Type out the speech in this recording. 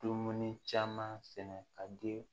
Dumuni caman sɛnɛ ka di